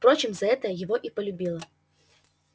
впрочем за это его и полюбила